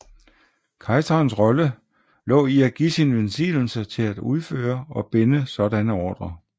Kejserens rolle lå i at give sin velsignelse til at udføre og binde sådanne ordrer